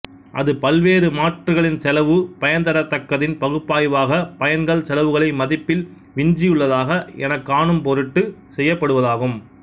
அது பல்வேறு மாற்றுகளின் செலவு பயன்தரத்தக்கதின் பகுப்பாய்வாக பயன்கள் செலவுகளை மதிப்பில் விஞ்சியுள்ளதா எனக் காணும் பொருட்டு செய்யப்படுவதாகும்